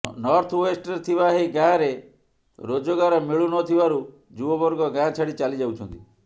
ନର୍ଥୱେଷ୍ଟରେ ଥିବା ଏହି ଗାଁରେ ରୋଜଗାର ମିଳୁ ନ ଥିବାରୁ ଯୁବବର୍ଗ ଗାଁ ଛାଡି ଚାଲି ଯାଉଛନ୍ତି